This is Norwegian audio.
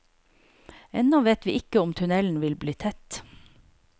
Ennå vet vi ikke om tunnelen vil bli tett.